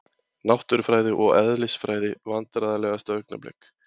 Náttúrufræði og eðlisfræði Vandræðalegasta augnablik?